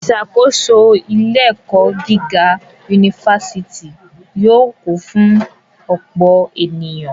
Ìṣàkóso ilé-ẹ̀kọ́ gíga yunifásítì yóò kún fún ọ̀pọ̀ ènìyàn.